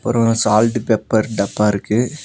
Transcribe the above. அப்புறோ salt pepper டப்பா இருக்கு.